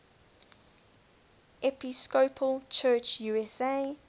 episcopal church usa